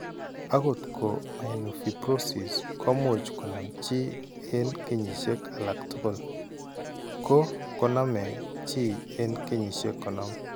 Akot ko myelofibrosis ko much konam chi eng' kenyisiek alak tugul, ko koname chi eng' kenyisiek 50.